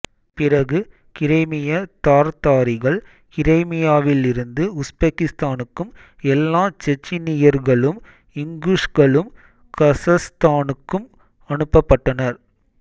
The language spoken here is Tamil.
பிறகு கிரைமிய தார்தாரிகள் கிரைமியாவிலிருந்து உஸ்பெகிஸ்தானுக்கும் எல்லா செச்னியர்களும் இங்குஷ்களும் கசக்ஸ்தானுக்கும் அனுப்பப் பட்டனர்